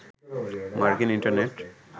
মার্কিন ইন্টারনেট